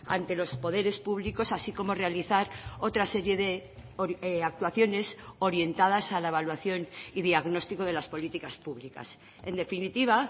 ante los poderes públicos así como realizar otra serie de actuaciones orientadas a la evaluación y diagnóstico de las políticas públicas en definitiva